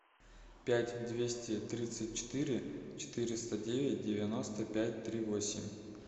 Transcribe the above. пять двести тридцать четыре четыреста девять девяносто пять три восемь